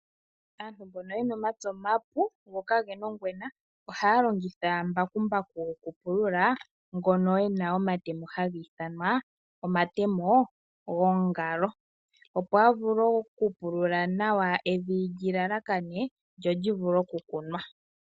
Aantu mbono yena omapya omapu go ka gena ongwena, ohaya longitha mbakumbaku gokupulula ngono ena omatemo haga ithanwa omatemo gongalo. Opo a vule okupulula nawa evi lyi lalakane lyo lyi vule okukunwa.